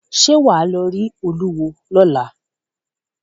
Ṣẹ́ wà á lọ rí olúwo lọ́la?